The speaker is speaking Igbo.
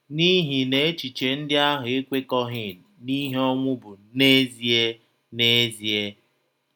N’ihi na echiche ndị ahụ ekwekọghị n’ihe ọnwụ bụ n’ezie n’ezie